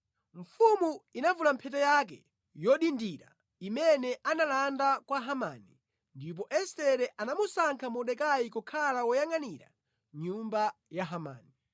Mfumu inavula mphete yake yodindira imene analanda kwa Hamani ndipo Estere anamusankha Mordekai kukhala woyangʼanira nyumba ya Hamani.